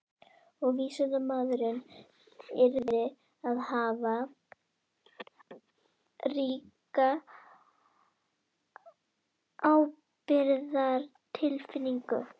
Og vísindamaðurinn yrði að hafa ríka ábyrgðartilfinningu.